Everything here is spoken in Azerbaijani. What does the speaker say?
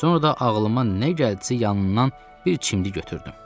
Sonra da ağlıma nə gəldisə yanından bir çimdik götürdüm.